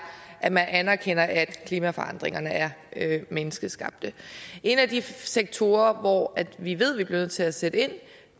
at man anerkender at klimaforandringerne er menneskeskabte en af de sektorer hvor vi ved vi bliver nødt til at sætte ind